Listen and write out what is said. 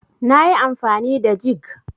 nayi amfani da jig